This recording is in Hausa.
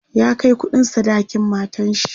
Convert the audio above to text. ya Kai kuɗin sadakin matanshi